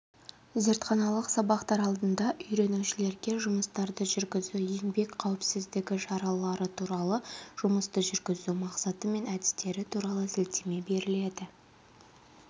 зертханалық сабақтар алдында үйренушілерге жұмыстарды жүргізу еңбек қауіпіздігі шаралары туралы жұмысты жүргізу мақсаты мен әдістері туралы сілтеме беріледі